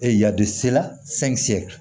yadisela